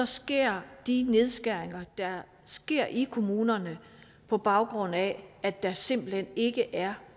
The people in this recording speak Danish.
sker de nedskæringer der sker i kommunerne på baggrund af at der simpelt hen ikke er